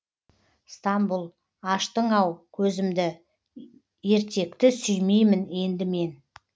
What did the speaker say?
стамбұл аштың ау көзімді ертекті сүймеймін енді мен